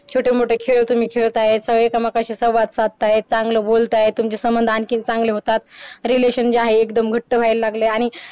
छोठेमोठे खेळ तुम्ही खेळताय त एकमेकांशी संवाद साधतंय चान्गले बोलताय तुम्हचे संमंध आणखी चांगले होतात relation जे आहे एकदम घट व्हायला लागले आणि